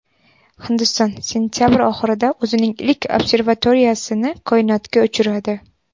Hindiston sentabr oxirida o‘zining ilk observatoriyasini koinotga uchiradi.